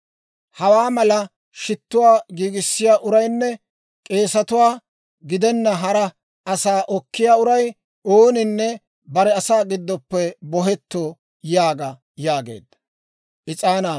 Hawaa mala shittuwaa giigissiyaa uraynne k'eesatuwaa gidenna hara asaa okkiyaa uray ooninne bare asaa giddoppe bohetto› yaaga» yaageedda.